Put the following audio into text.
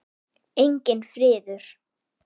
Enginn friður.